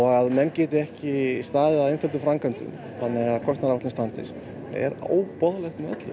að menn geti ekki staðið að einföldum framkvæmdum þannig að kostnaðaráætlun standist er óboðlegt með öllu